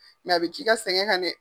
a bi k'i ka sɛngɛ kan dɛ.